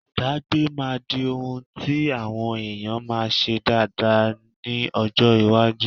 Ìdágbé máa di ohun tí àwọn èèyàn máa ṣe dáada ha ní ọjọ́ iwájú.